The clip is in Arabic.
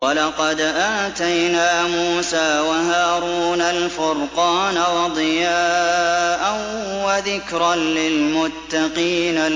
وَلَقَدْ آتَيْنَا مُوسَىٰ وَهَارُونَ الْفُرْقَانَ وَضِيَاءً وَذِكْرًا لِّلْمُتَّقِينَ